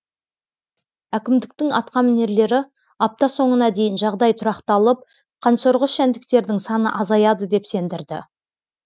әкімдіктің атқамінерлері апта соңына дейін жағдай тұрақталып қансорғыш жәндіктердің саны азаяды деп сендірді